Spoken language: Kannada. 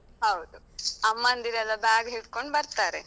ಹೌದು, ಅಮ್ಮಂದಿರೆಲ್ಲ bag ಹಿಡ್ಕೊಂಡ್ ಬರ್ತಾರೆ.